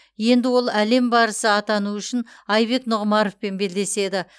енді ол әлем барысы атану үшін айбек нұғымаровпен белдеседі